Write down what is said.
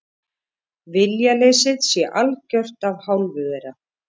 Viljaleysið sé algjört af hálfu þeirra